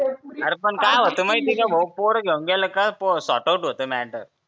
अरे पण काय होत माहित का भो पोर घेऊन गेलं का सॉर्ट आऊट होत म्याटर